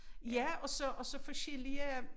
Ja og så og så forskellige